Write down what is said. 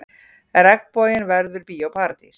Regnboginn verður Bíó Paradís